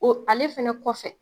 O ale fɛnɛ kɔfɛ